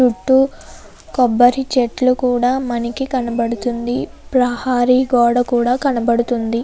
చుట్టూ కొబ్బరి చెట్లు కూడా మనకి కనబడుతుంది ప్రహరీ గోడ కూడా కనబడుతుంది.